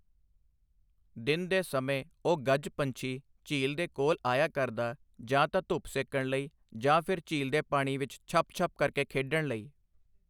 ਦਿਨ ਦੇ ਸਮੇਂ ਓਹ ਗੱਜ ਪੰਛੀ ਝੀਲ ਦੇ ਕੋਲ ਆਇਆ ਕਰਦਾ ਜਾਂ ਤਾਂ ਧੁੱਪ ਸੇਕਣ ਲਈ ਜਾਂ ਫਿਰ ਝੀਲ ਦੇ ਪਾਣੀ ਵਿੱਚ ਛੱਪ-ਛੱਪ ਕਰਕੇ ਖੇਡਣ ਲਈ।